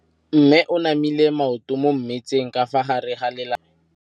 Mme o namile maoto mo mmetseng ka fa gare ga lelapa le ditsala tsa gagwe.